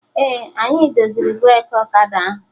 Ee, anyị doziri breki ọkada ahụ